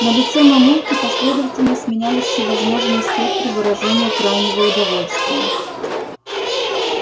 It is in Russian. на лице мамульки последовательно сменялись всевозможные спектры выражения крайнего удовольствия